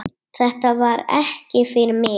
Þetta var ekki fyrir mig